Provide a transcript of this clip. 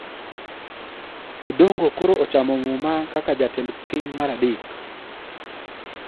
Odongo koro ochamo muma kaka ja-tend piny mar adek.